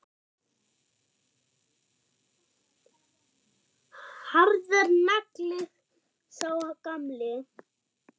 Harður nagli, sá gamli.